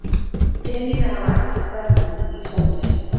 Peningar hafa ekkert verðmæti í sjálfu sér.